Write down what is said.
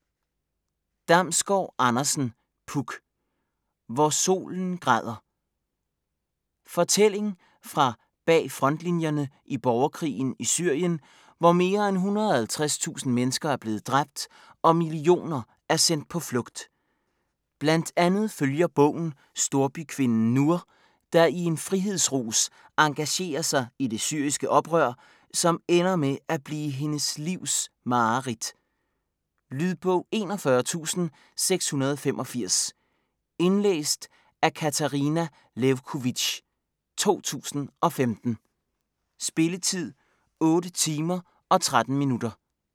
Damsgård Andersen, Puk: Hvor solen græder Fortælling fra bagfrontlinjerne i borgerkrigen i Syrien, hvor mere end 150.000 mennesker er blevet dræbt, og millioner er sendt på flugt. Blandt andet følger bogen storbykvinden Nour, der i en frihedsrus engagerer sig i det syriske oprør, som ender med at blive hendes livs mareridt. Lydbog 41685 Indlæst af Katarina Lewkovitch, 2015. Spilletid: 8 timer, 13 minutter.